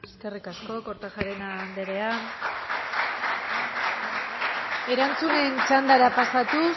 eskerrik asko kortajarena anderea